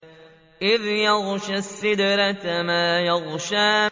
إِذْ يَغْشَى السِّدْرَةَ مَا يَغْشَىٰ